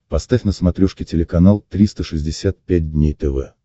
поставь на смотрешке телеканал триста шестьдесят пять дней тв